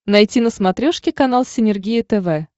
найти на смотрешке канал синергия тв